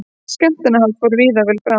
Skemmtanahald fór víða vel fram